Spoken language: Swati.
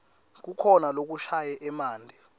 kukhona lokushaya emanti